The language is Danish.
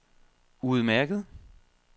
udmærket